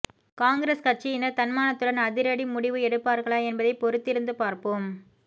காங்கிரஸ் கட்சியினர் தன்மானத்துடன் அதிரடி முடிவு எடுப்பார்களா என்பதை பொறுத்திருந்து பார்ப்போம்